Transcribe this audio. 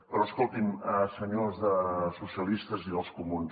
però escolti’m senyors de socialistes i dels comuns